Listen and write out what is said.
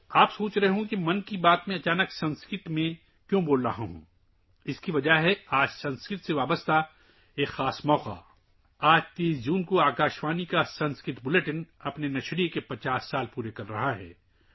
آپ سوچ رہے ہوں گے کہ میں ‘من کی بات’ میں اچانک سنسکرت میں کیوں بول رہا ہوں؟ اس کی وجہ یہ ہے کہ آج سنسکرت سے متعلق ایک خاص موقع ہے! آج 30 جون کو آل انڈیا ریڈیو کا سنسکرت بلیٹن اپنی نشریات کے 50 سال مکمل کر رہا ہے